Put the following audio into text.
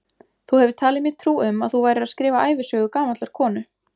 Þú hefur talið mér trú um að þú værir að skrifa ævisögu gamallar konu.